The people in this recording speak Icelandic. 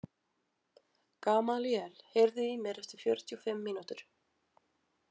Gamalíel, heyrðu í mér eftir fjörutíu og fimm mínútur.